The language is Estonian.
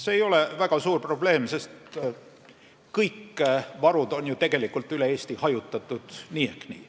See ei ole väga suur probleem, sest kõik varud on ju tegelikult üle Eesti hajutatud nii ehk nii.